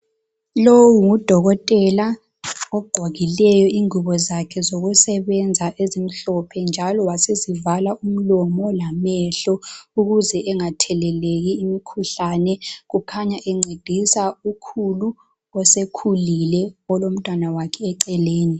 Lowu ngudokotela ogqokileyo ingubo zakhe zokusebenza ezimhlophe njalo wasezivala umlomo lamehlo ukuze engatheleleki imkhuhlane kukhanya encibhisa ukhulu osekhulile olomntwana wakhe eceleni.